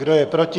Kdo je proti?